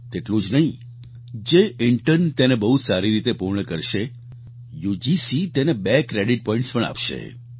તેટલું જ નહીં જે ઈન્ટર્ન તેને બહુ સારી રીતે પૂર્ણ કરશે યુજીસી તેમને બે ક્રેડિટ પોઈન્ટ્સ પણ આપશે